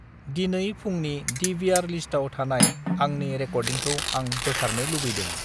दिनै फुंनि डिविआर लिस्टाव थानाय आंनि रेकर्दिंखौ आं बोखारनो लुबैदों।